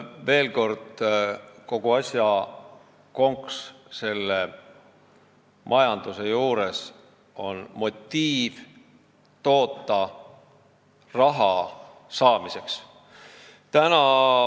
Veel kord: selle majanduse puhul on kogu asja konks motiivis toota raha saamiseks.